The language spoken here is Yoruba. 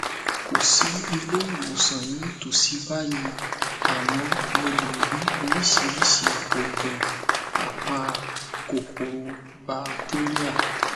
kò sí ilé ìwòsàn ní ìtòsí báyìí àmọ mo lè rí oríṣiríṣi òògùn apa kòkòrò batéríà